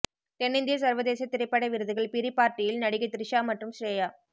தென்னிந்திய சர்வதேச திரைப்பட விருதுகள் பிரி பார்ட்டியில் நடிகை த்ரிஷா மற்றும் ஸ்ரேயா